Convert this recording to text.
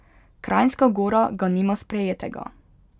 Kranjska Gora ga nima sprejetega.